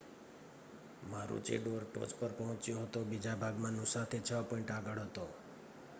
મારુચિડોર ટોચ પર પહોચ્યો હતો બીજા ભાગમાં નૂસાથી છ પૉઇન્ટ આગળ હતો